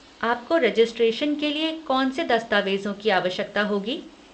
आपको रेजिस्ट्रेशन के लिए कौनसे देस्तावेज़ों की आवश्यकता होगी?